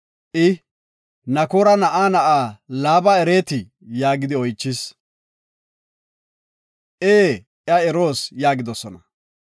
I, “Nakoora na7a na7aa Laaba ereetii?” yaagidi oychis. “Ee, iya eroos” yaagidosona.